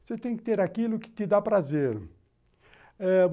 Você tem que ter aquilo que te dá prazer.